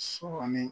Sɔ kɔni